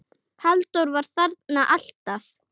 Halldór var þarna alltaf.